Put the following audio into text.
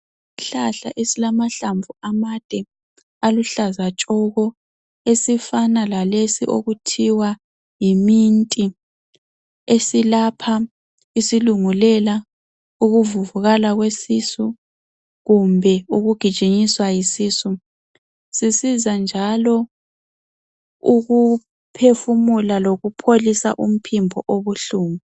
Isihlahla esilamahlamvu amade aluhlaza tshoko esifana lalesi okuthiwa yi-minti esilapha isilungulela, ukuvuvukala kwesisu kumbe ukugijinyiswa yisisu. Sisiza njalo ukuphefumula lokupholisa umphimbo obuhlungu.